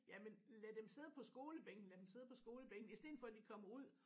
Jamen lad dem sidde på skolebænken lad dem sidde på skolebænken i stedet for de kommer ud